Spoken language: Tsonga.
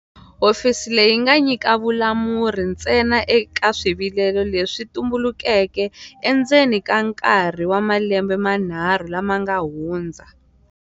Hofisi leyi yi nga nyika vulamuri ntsena eka swivilelo leswi swi tu mbulukeke endzeni ka nkarhi wa malembe manharhu lama nga hundza.